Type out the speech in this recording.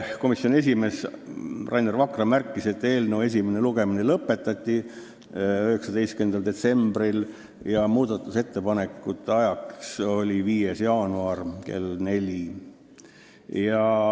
Komisjoni esimees Rainer Vakra märkis, et eelnõu esimene lugemine lõpetati 19. detsembril ja muudatusettepanekute tähtaeg oli 5. jaanuar kell 16.